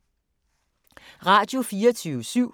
Radio24syv